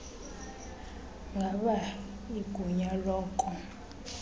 ngaba igunya loko